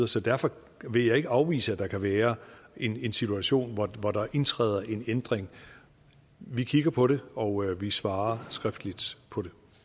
så derfor vil jeg ikke afvise at der kan være en situation hvor der indtræder en ændring vi kigger på det og vi svarer skriftligt på det